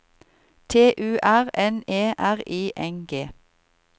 T U R N E R I N G